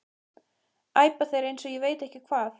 æpa þeir eins og ég veit ekki hvað.